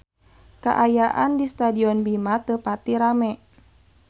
Kaayaan di Stadion Bima teu pati rame